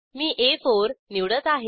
मी आ4 निवडत आहे